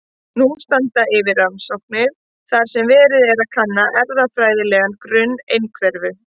Nú standa yfir rannsóknir þar sem verið er að kanna erfðafræðilegan grunn einhverfu.